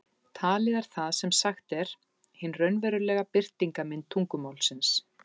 Talið er það sem sagt er, hin raunverulega birtingarmynd tungumálsins.